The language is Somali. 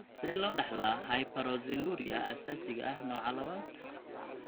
Sidee loo dhaxlaa hyperoxaluria aasaasiga ah nooca labad?